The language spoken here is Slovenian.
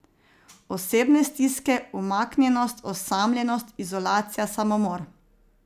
Osebne stiske, umaknjenost, osamljenost, izolacija, samomor...